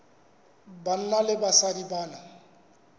banna le basadi ba na